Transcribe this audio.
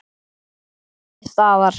Þá nam ég staðar.